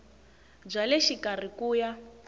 bya le xikarhi ku ya